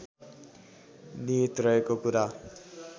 निहित रहेको कुरा